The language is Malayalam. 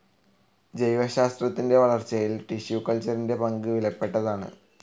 ജൈവശാസ്ത്രത്തിന്റെ വളർച്ചയിൽ ടിഷ്യൂ കൾച്ചറിന്റെ പങ്ക് വിലപ്പെട്ടതാണ്.